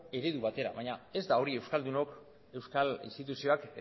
eredu bat dela baina ez da hori euskaldunok euskal instituzioak